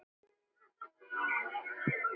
Þekkja ekki lífið.